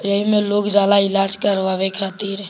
यही मे लोग जाला इलाज करवावे खातिर।